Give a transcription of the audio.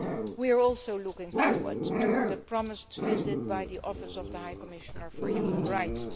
We are also looking forward to the promised visit by the Office of the High Commissioner for Human Rights.